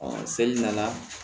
seli nana